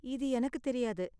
இது எனக்கு தெரியாது.